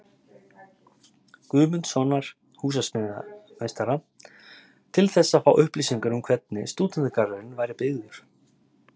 Guðmundssonar húsameistara, til þess að fá upplýsingar um hvernig Stúdentagarðurinn væri byggður.